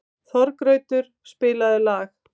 Þorgautur, spilaðu lag.